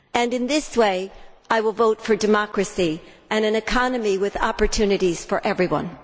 In so doing, I will vote for democracy and an economy with opportunities for everyone.